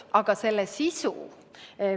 Aga kuidas seda sisustada?